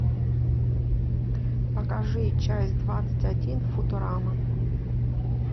покажи часть двадцать один футурама